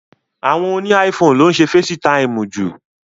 Àwọn óni iPhone lo ǹ ṣe Fésitiimu ju.